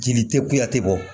Jeli tɛ kuyate bɔ